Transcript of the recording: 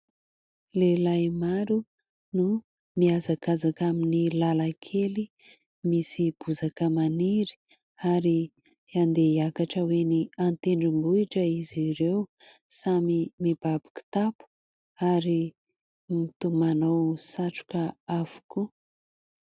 Lehilahy maro no mihazakazaka amin'ny lalankely misy bozaka maniry ary andeha hiakatra ho eny an-tendrombohitra izy ireo samy mibaby kitapo ary toa manao satroka avokoa.